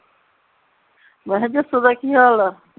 ਮੈਂ ਹੈ ਜੱਸੋ ਦਾ ਕੀ ਹਾਲ ਆ